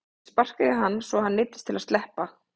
Ég sparkaði í hann svo að hann neyddist til að sleppa.